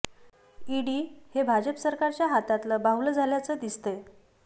ED हे भाजप सरकारच्या हातातलं बाहुलं झाल्याचं दिसतंय